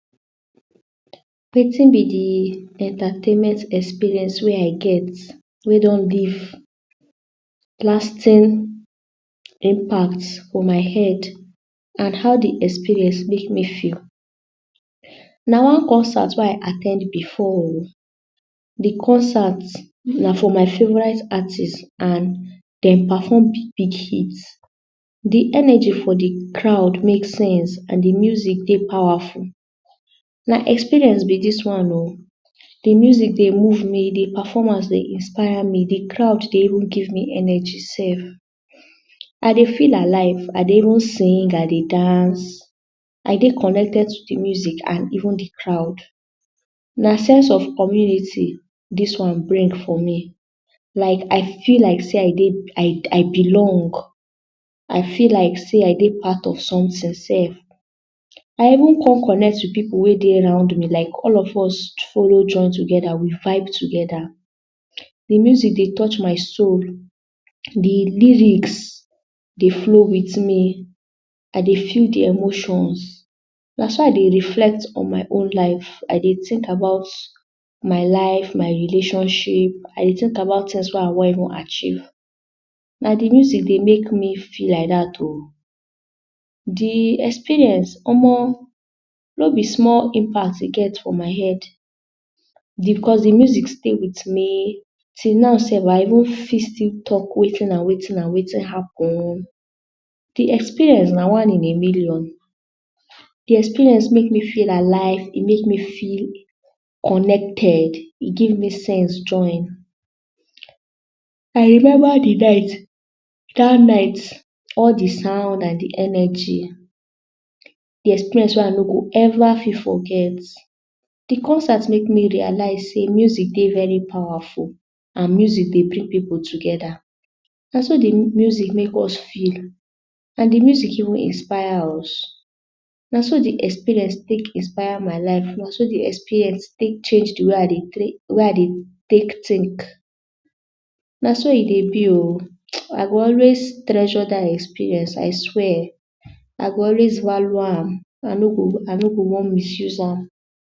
Wetin be de entertainment experience wey I get wey don leave lasting impact for my head and how de experience make me feel. Na one concert wey I at ten d before oh de concert na for my favourite artist and dem perform big big hit. de energy for de crowd make sense and de music powerful. na experience be dis one oh de music dey move me de performance dey inspire me de crowd dey even give me energy sef. I dey feel alive I dey even sing I dey dance I dey connected to de music and even de crowd na sense of community dis one bring for me like I feel like sey I dey, I belong I feel like sey I dey part of someting sef. I even come connect with pipu wey dey around me like all of us follow join togeda dey vibe togeda like de music dey touch my soul. de lyrics dey flow with me I dey feel de emotions na so I dey reflect on my own life. I dey tink about my life my relationship I dey tink about tinks wey I wan even achieve. na de music dey make me feel like dat oh. de experience omo no be small impact e get for my head because de music stay with me till now sef. I even got still talk wetin and wetin and wetin happen oh. de experience na one in a million. de experience make me feel alive. e make me feel connected e give me sense join. I remember de night dat night all de sound and de energy de experience wey I no go ever fit forget de concert make me realise sey music dey very powerful and music dey bring pipu togeda. na so de music make me feel and de music even inspire us na so de experience take inspire my life na de experience take change de way I dey take tink. na so e dey be oh. I go always treasure that experience I swear I go always value am I no go wan misuse am.